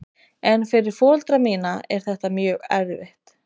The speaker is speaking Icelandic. En fyrir foreldra mína er þetta mjög erfitt.